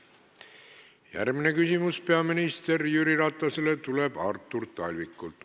Järgmine küsimus peaminister Jüri Ratasele tuleb Artur Talvikult.